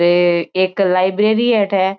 ये एक लाइब्रेरी है अठे।